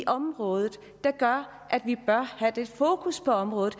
området der gør at vi bør have det fokus på området